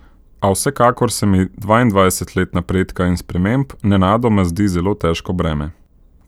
A vsekakor se mi dvaindvajset let napredka in sprememb nenadoma zazdi zelo težko breme.